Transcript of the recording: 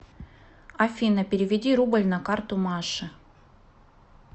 афина переведи рубль на карту маше